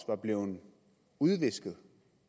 var blevet udvisket